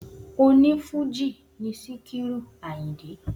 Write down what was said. O ní Fújì ni Sikiru Àyìndé